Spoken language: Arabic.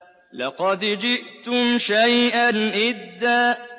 لَّقَدْ جِئْتُمْ شَيْئًا إِدًّا